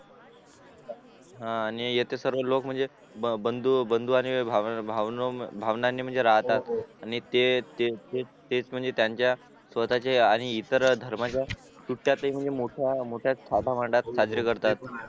हा आणि येते सर्वे लोक म्हणजे बंधू आणि भावनांनी म्हणजे राहतात आणि तेच म्हणजे त्यांच्या स्वतःचे आणि इतर धर्मांचा सुट्यातही मोठ्या मोठ्या थाटामाठात साजरे करतात